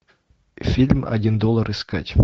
фильм один доллар искать